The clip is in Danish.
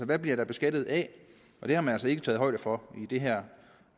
der bliver beskattet af og det har man altså ikke taget højde for i det her